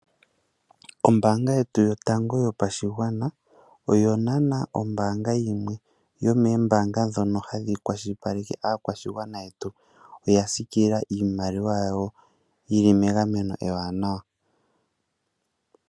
Ombaanga yetu yotango yopashigwana, oyo naana ombaanga yimwe yomeembaanga ndhono hadhi kwashilipaleke aakwashigwana yetu. Oya siikilila iimaliwa yawo yi li megameno ewanawa